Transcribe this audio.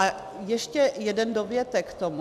A ještě jeden dovětek k tomu.